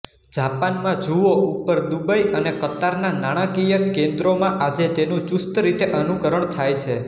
જાપાનમાં જુઓ ઉપર દુબઇ અને કતારના નાણાકીય કેન્દ્રોમાં આજે તેનું ચુસ્તરીતે અનુકરણ થાય છે